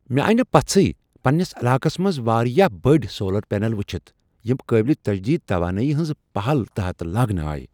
مےٚ آیہ نہ پژھٕے پننس علاقس منٛز واریاہ بٔڈۍ سولر پینل وچھِتھ یم قابل تجدید توانائی ہنزِ پہل تحت لاگنہٕ آیہ ۔